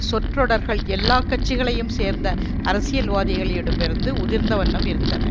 சொற்றொடர்கள் எல்லா கட்சிகளையும் சேர்ந்த அரசியல்வாதிகளிடமிருந்து உதிர்ந்தவண்ணம் இருந்தன